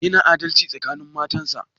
Yana adalci tsakanin matan sa?